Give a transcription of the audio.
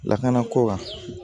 Lakana ko kan